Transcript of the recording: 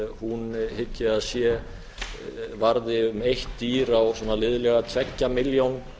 þessu skapast hygg ég að varði um eitt dýr á svona liðlega tveggja milljón